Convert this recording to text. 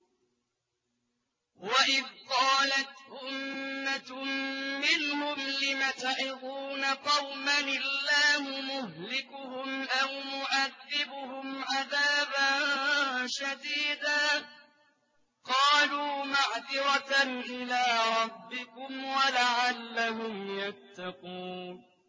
وَإِذْ قَالَتْ أُمَّةٌ مِّنْهُمْ لِمَ تَعِظُونَ قَوْمًا ۙ اللَّهُ مُهْلِكُهُمْ أَوْ مُعَذِّبُهُمْ عَذَابًا شَدِيدًا ۖ قَالُوا مَعْذِرَةً إِلَىٰ رَبِّكُمْ وَلَعَلَّهُمْ يَتَّقُونَ